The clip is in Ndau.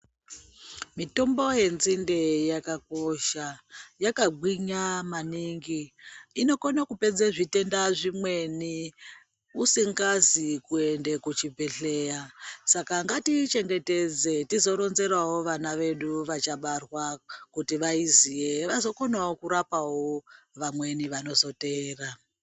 Mitombo yenzinde yakakosha yakagwinya maningi inokone kupedza zvitenda zvimweni usingazi kuende kuzvibhedhleya saka ngatiichengetedze tizoronzerawo vana vedu vachabarwa kuti vaiziye vazokonawo kurapa vamweni vachateera.